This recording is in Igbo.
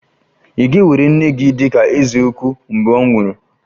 Ị̀ ga-ewere nne gị dị ka eze ukwu mgbe ọ nwụrụ?